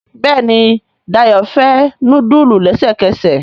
Béèni Dayo fè nudulu lẹsẹkẹsẹ.